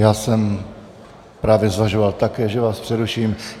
Já jsem právě zvažoval také, že vás přeruším.